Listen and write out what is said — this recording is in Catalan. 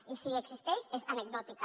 i si existeix és anecdòtica